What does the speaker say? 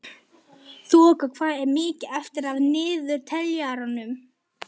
Þoka, hvað er mikið eftir af niðurteljaranum?